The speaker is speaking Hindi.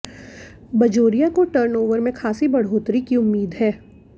बजोरिया को टर्नओवर में खासी बढ़ोतरी की उम्मीद है